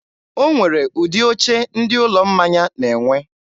o nwere ụdị oche ndị ụlọ mmanya na-enwe.